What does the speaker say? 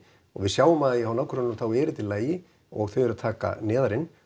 og við sjáum það bara hjá nágrönnunum þá er þetta í lagi og þau eru að taka neðar inn